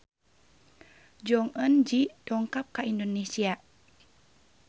Jong Eun Ji dongkap ka Indonesia